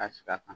Ka sigi a kan